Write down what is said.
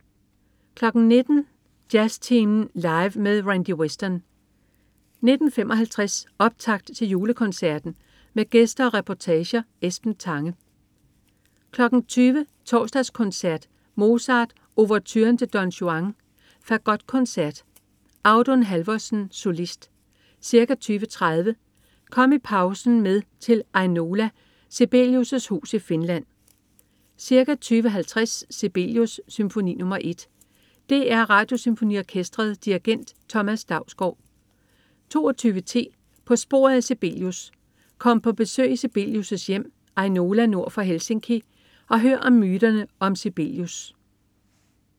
19.00 Jazztimen Live med Randy Weston 19.55 Optakt til Julekoncerten. Med gæster og reportage. Esben Tange 20.00 Torsdagskoncert. Mozart: Ouverturen til Don Juan. Fagotkoncert. Audun Halvorsen, solist. Ca. 20.30 Kom i pausen med til Ainola, Sibelius' hus i Finland. Ca. 20.50 Sibelius: Symfoni nr. 1. DR Radiosymfoniorkestret. Dirigent: Thomas Dausgaard 22.10 På sporet af Sibelius. Kom på besøg i Sibelius' hjem Ainola nord for Helsinki og hør om myterne om Sibelius